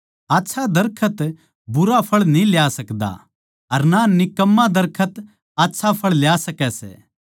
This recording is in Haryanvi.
आच्छा दरखत भुंडा फळ न्ही ल्या सकदा अर ना निकम्मा दरखत आच्छा फळ ल्या सकै सै